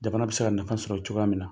Jamana bɛ se ka nafa sɔrɔ cogoya min na.